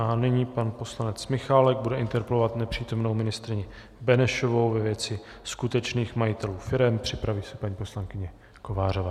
A nyní pan poslanec Michálek bude interpelovat nepřítomnou ministryni Benešovou ve věci skutečných majitelů firem, připraví se paní poslankyně Kovářová.